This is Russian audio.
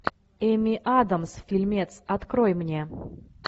эми адамс фильмец открой мне